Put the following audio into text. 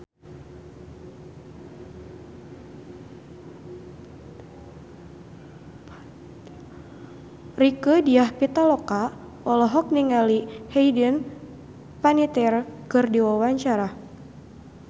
Rieke Diah Pitaloka olohok ningali Hayden Panettiere keur diwawancara